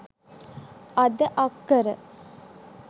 අද අක්කර